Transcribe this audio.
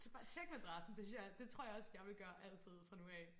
Bare tjek madrassen det synes jeg er det tror jeg også jeg ville gøre altid fra nu af